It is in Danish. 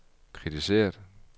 kritiseret